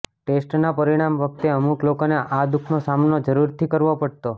ટેસ્ટના પરિણામ વખતે અમુક લોકોને આ દુખનો સામનો જરૂરથી કરવો પડતો